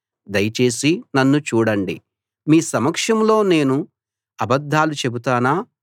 దయచేసి నన్ను చూడండి మీ సమక్షంలో నేను అబద్ధాలు చెబుతానా